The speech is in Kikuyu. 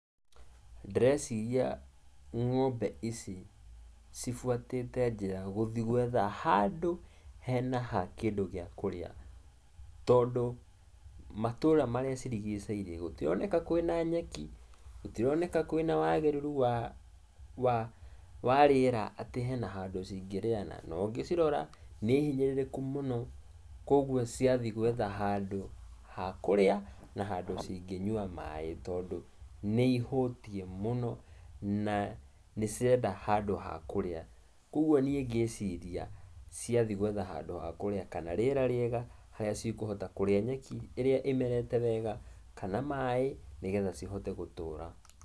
Ndĩrecia ng'ombe ici cibuatĩte njĩra gũthiĩ gwetha handũ hena hakĩndũ gĩa kũrĩa, tondũ, matũra marĩa macirigicĩirie gũtironeka kwĩna nyeki, gũtironeka kwĩna wagĩrĩrũ wa warĩera atĩ hena handũ cingĩrĩa, na ũngĩcirora nĩ hinyĩrĩrĩku mũno. Kwoguo ciathiĩ gwetha handũ hakũrĩa, na handũ cingĩnyua maĩ, tondũ nĩ ihũtiĩ mũno na nĩ cirenda handũ ha kũrĩa. Kwoguo niĩ ngĩciria, ciathiĩ gwetha handũ hakũrĩa kana rĩera rĩega, harĩa cikũhota kũrĩa nyeki harĩa ĩmerete wega, kana maĩ, nĩgetha cihote gũtũũra.